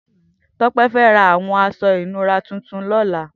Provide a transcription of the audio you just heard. Tope fè rà awọn aṣọ inùrà tùtùn lọ̀là